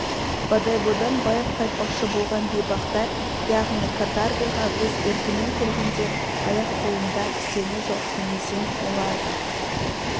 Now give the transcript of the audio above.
бодойбодан байып қайтпақшы болған бейбақтар яғни каторгаға өз еркімен келгендер аяқ-қолында кісені жоқ демесең олар да